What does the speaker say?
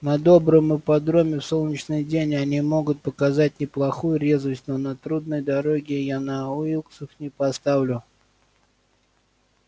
на добром ипподроме в солнечный день они могут показать неплохую резвость но на трудной дороге я на уилксов не поставлю